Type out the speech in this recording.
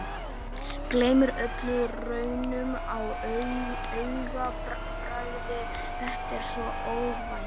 Gleymir öllum raunum á augabragði, þetta er svo óvænt.